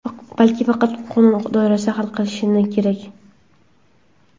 balki faqat qonun doirasida hal qilinishi kerak.